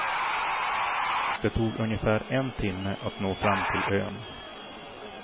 Det tog ungefär en timme att nå fram till ön.